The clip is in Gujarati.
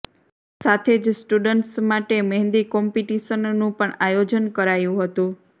સાથે જ સ્ટુડન્ટ્સ માટે મહેંદી કોમ્પિટિશનનું પણ આયોજન કરાયું હતું